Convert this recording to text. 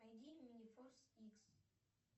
найди минифорс икс